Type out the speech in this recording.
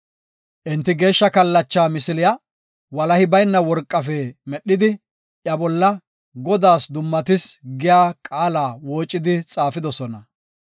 Enti, geeshsha kallacha misiliya walahi bayna worqafe medhidi, iya bolla, “Godaas Dummatis” giya qaala woocidi xaafidosona.